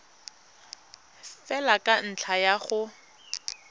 fela ka ntlha ya go